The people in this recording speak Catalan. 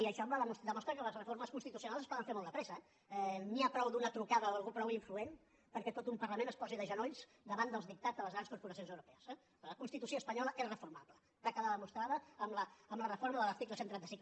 i això demostra que les reformes constitucionals es poden fer molt de pressa eh n’hi ha prou amb una trucada d’algú prou influent perquè tot un parlament es posi de genolls davant dels dictats de les grans corporacions europees eh la constitució espanyola és reformable va quedar demostrat amb la reforma de l’article cent i trenta cinc